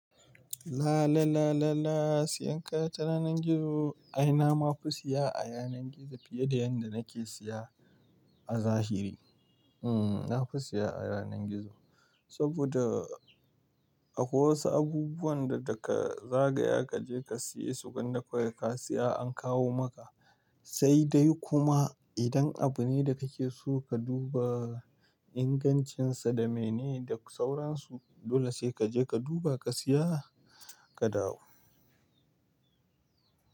La la la la la. Siyan kaya ta yanar gizo ai na ma fi siya a yanar gizo fiye da yadda nake siya a zahiri. Nafi siya a yanar gizo saboda akwai wasu abubuwan da daka zagaya kaje ka siye su, gwanda kawai ka siya a kawo maka. Sai dai kuma idan abu ne da kake so ka duba ingancinsa da mene da sauransu, dole sai kaje ka duba ka siya ka dawo.